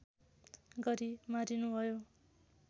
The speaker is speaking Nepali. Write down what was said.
गरी मारिनुभयो